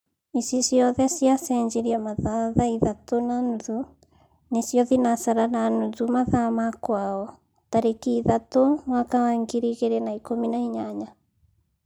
Ici ciothe ciacejiria mathaa tha ithatũ na nuthu (thinasara na nuthu mathaa ma kwao) tariki ithatũ mwaka wa ngiri igĩri na ikũmi na inyanya